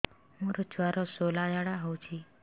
ମୋ ଛୁଆର ସୁଳା ଝାଡ଼ା ହଉଚି